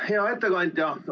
Hea ettekandja!